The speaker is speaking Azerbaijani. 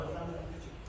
Sən çək.